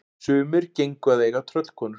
Sumir gengu að eiga tröllkonur.